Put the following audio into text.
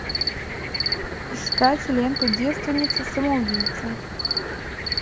искать ленту девственница самоубийца